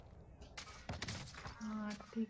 हा ठीके!